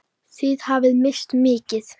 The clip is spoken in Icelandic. Þið hafið misst mikið.